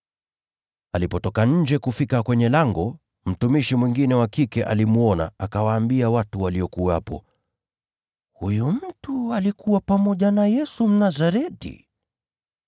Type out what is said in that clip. Alipotoka nje kufika kwenye lango, mtumishi mwingine wa kike alimwona, akawaambia watu waliokuwepo, “Huyu mtu alikuwa pamoja na Yesu, Mnazareti.”